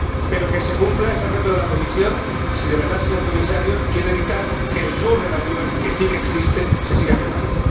Pero que se cumpla ese reto de la Comisión si de verdad el señor Comisario quiere evitar que el sur de la Unión, que sí que existe, se siga quemando.